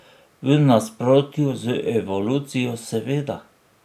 V nasprotju z evolucijo, seveda.